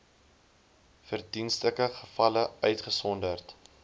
verdienstelike gevalle uitgesonderd